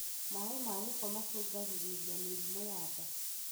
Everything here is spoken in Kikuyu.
Maĩ ma gĩko nĩ mashũngagĩrĩria mĩrimũ ya nda.